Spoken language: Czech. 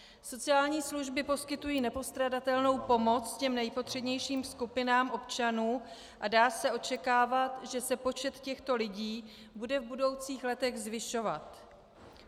Sociální služby poskytují nepostradatelnou pomoc těm nejpotřebnějším skupinám občanů a dá se očekávat, že se počet těchto lidí bude v budoucích letech zvyšovat.